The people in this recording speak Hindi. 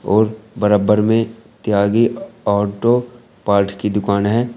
और बराबर में त्यागी ऑटो पार्ट की दुकान है।